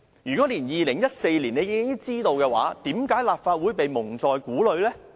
如果在2014年已經作出決定，為何立法會一直被蒙在鼓裏呢？